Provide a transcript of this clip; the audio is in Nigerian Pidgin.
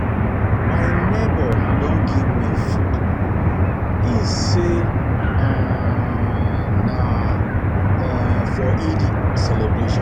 My nebor don give me food, im say um na um for Eid celebration.